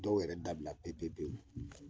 Dɔw yɛrɛ dabila pepepewu